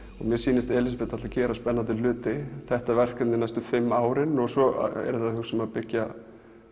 mér sýnist Elísabet ætla að gera spennandi hluti þetta verkefni næstu fimm ára og svo eru þau að hugsa um að byggja